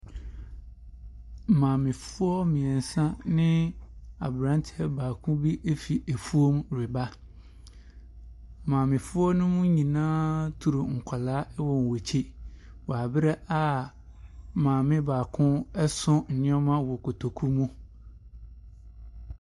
Maamefoɔ mmiɛnsa ɛne abranteɛ baako efiri ɛfuom reba. Maamefoɔ no mu nyinaa toru nkwadaa ɛwɔ wɔn ɛkyi wo abra a maame baako ɛso nnoɔma wɔ kotoku mu.